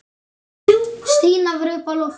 Stína var uppi á lofti.